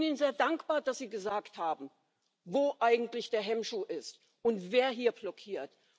Ich bin Ihnen sehr dankbar, dass Sie gesagt haben, wo eigentlich der Hemmschuh ist und wer hier blockiert.